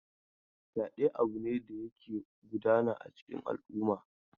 Fyaɗe abu ne da yake gudana a cikin al'umma.